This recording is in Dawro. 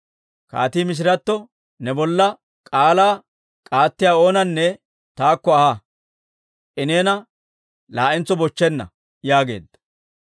Kaatii mishiratto, «Ne bolla k'aalaa k'aattiyaa oonanne taakko aha; I neena laa'entso bochchenna» yaageedda.